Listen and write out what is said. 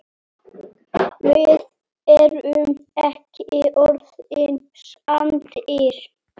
Við erum ekki orðnir saddir.